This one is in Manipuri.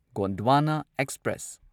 ꯒꯣꯟꯗ꯭ꯋꯥꯅ ꯑꯦꯛꯁꯄ꯭ꯔꯦꯁ